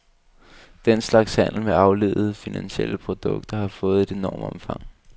Den slags handel med afledede finansielle produkter, har fået et enormt omfang.